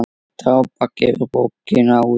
Drápa gefur bókina út.